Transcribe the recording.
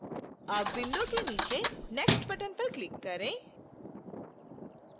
अब window के नीचे next button पर click करें